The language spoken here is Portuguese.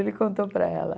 Ele contou para ela.